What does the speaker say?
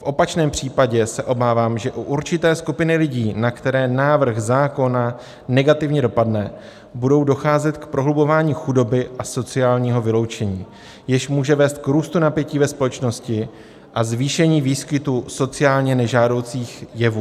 V opačném případě se obávám, že u určité skupiny lidí, na které návrh zákona negativně dopadne, bude docházet k prohlubování chudoby a sociálního vyloučení, jež může vést k růstu napětí ve společnosti a zvýšení výskytu sociálně nežádoucích jevů."